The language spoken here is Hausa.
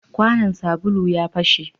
Kwanan sabulu ya fashe